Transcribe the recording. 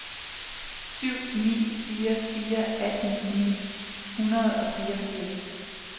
syv ni fire fire atten ni hundrede og fireogfirs